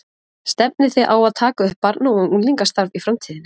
Stefnið þið á að taka upp barna og unglingastarf í framtíðinni?